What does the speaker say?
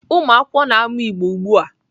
Ụmụakwụkwọ na-amụ Igbo ugbu a.